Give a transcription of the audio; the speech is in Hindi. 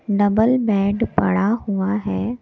डबल बेड पड़ा हुआ है।